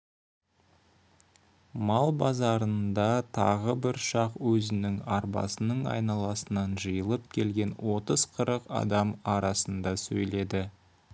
мал базарында тағы бір шақ өзінің арбасының айналасынан жиылып келген отыз-қырық адам арасында сөйледі